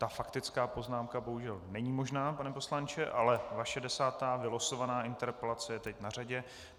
Ta faktická poznámka bohužel není možná, pane poslanče, ale vaše desátá vylosovaná interpelace je teď na řadě.